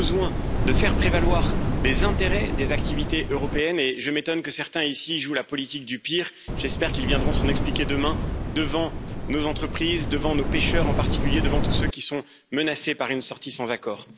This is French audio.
Nous avons besoin de faire prévaloir les intérêts des activités européennes et je m'étonne que certains ici jouent la politique du pire. J'espère qu'ils viendront s'en expliquer, demain, devant nos entreprises, devant nos pêcheurs en particulier, devant tous ceux qui sont menacés par une sortie sans accord.